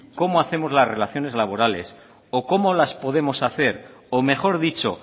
cómo hacemos las relaciones laborales o cómo las podemos hacer o mejor dicho